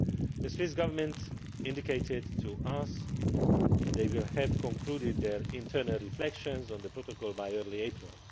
The Swiss Government have indicated to us that they will have concluded their internal reflections on the Protocol by early April.